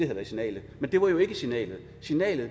været signalet men det var jo ikke signalet signalet